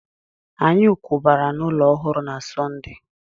Anyị kwabara n'ụlọ ọhụrụ na Sọnde